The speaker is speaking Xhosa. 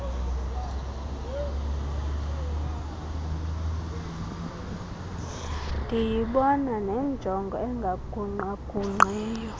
ndiyibona nenjongo engagungqagungqiyo